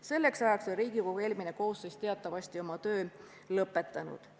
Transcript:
Selleks ajaks oli Riigikogu eelmine koosseis teatavasti oma töö lõpetanud.